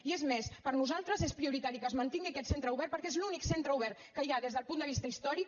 i és més per nosaltres és prioritari que es man·tingui aquest centre obert perquè és l’únic centre obert que hi ha des del punt de vista històric